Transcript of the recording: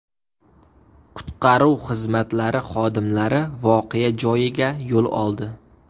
Qutqaruv xizmatlari xodimlari voqea joyiga yo‘l oldi.